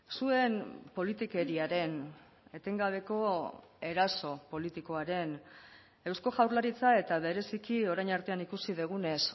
zuen politikeriaren etengabeko eraso politikoaren eusko jaurlaritza eta bereziki orain artean ikusi dugunez